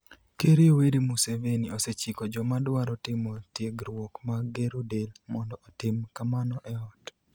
Ker Yoweri Museveni osechiko joma dwaro timo tiegruok mag gero del mondo otim kamano e ot